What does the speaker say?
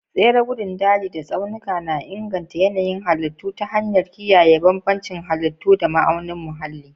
Tsare gandun daji da tsaunuka na inganta yanayin halittu ta hanyar kiyaye bambancin halittu da ma'aunin muhalli.